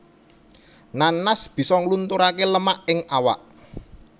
Nanas bisa nglunturaké lemak ing awak